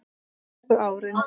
Síðustu árin